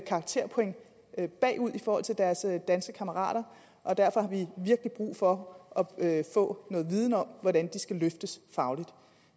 karakterpoint bagud i forhold til deres danske kammerater og derfor har vi virkelig brug for at få noget viden om hvordan de skal løftes fagligt